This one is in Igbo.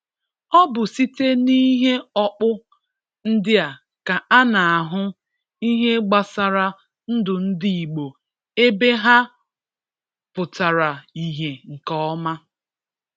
Ọ bụ site n’ihe ọkpụ ndị a ka a na-ahụ ihe gbasara ndụ ndị Igbo ebe ha pụtara ihe nke ọma